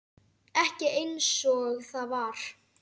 Ekki einsog það var.